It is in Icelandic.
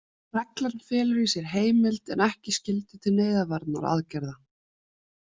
Reglan felur í sér heimild, en ekki skyldu til neyðarvarnaraðgerða.